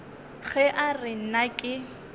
ge a re nna ke